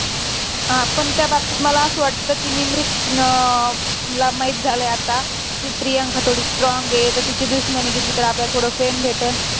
हा. पण त्या बाबतीत मला असं वाटतं कि निमरीत अं ला माहित झालंय आता, कि प्रियांका थोडी strong आहे. तर तिची दुश्मनी घेतली तर आपल्याला थोडं fame भेटणं.